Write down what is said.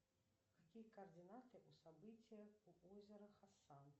какие координаты у события у озера хасан